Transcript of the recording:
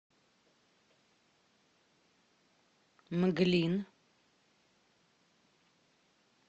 мглин